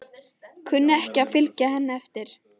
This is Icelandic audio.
Kunni ekki við að fylgja henni eftir.